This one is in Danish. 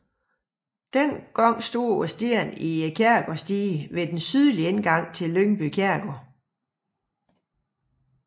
Da stod stenen i kirkegårdsdiget ved den sydlige indgang til Lyngby kirkegård